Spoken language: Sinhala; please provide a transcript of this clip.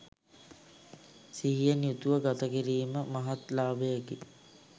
සිහියෙන් යුතුව ගතකිරීම මහත් ලාභයකි.